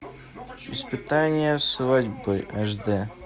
испытание свадьбой аш д